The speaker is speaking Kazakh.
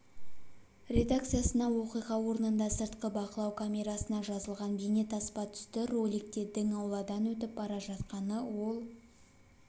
редакциясына оқиға орнында сыртқы бақылау камерасына жазылған бейнетаспа түсті роликте дің ауладан өтіп бара жатқаны ол